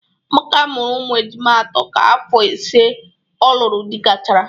Amaka mụrụ ụmụ ejima atọ ka afọ ise ọ lụrụ di gachara